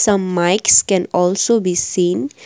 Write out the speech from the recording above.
the mics can also be seen.